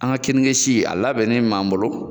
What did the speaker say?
An ka kirinesi si a labɛnnen b'an bolo